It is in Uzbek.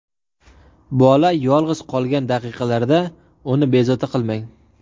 Bola yolg‘iz qolgan daqiqalarda uni bezovta qilmang!